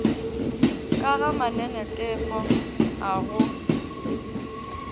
ka ga mananetefo a go